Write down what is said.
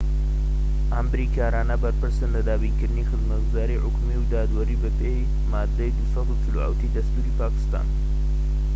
ئەم بریکارانە بەرپرسن لە دابینکردنی خزمەتگوزاری حکومی و دادوەری بە پێی مادەی 247ی دەستوری پاکستان‎